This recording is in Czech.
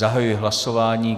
Zahajuji hlasování.